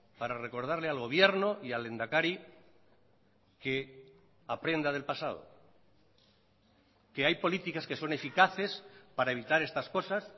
para recordarle al gobierno y al lehendakari que aprenda del pasado que hay políticas que son eficaces para evitar estas cosas